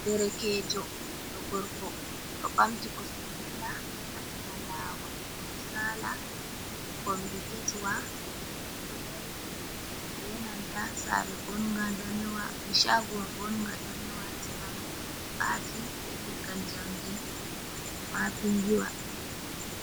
Derekejo ɓiɗɗo gorko ɗo bamti kosɗe dilla ha sera lawol, o ɗo sala kombi keswa ɗo dari ɓe nanta saare shago bonga danewa hasira mai ɗo aati be leggal jamndi ma pindiwa.